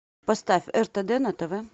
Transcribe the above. поставь ртд на тв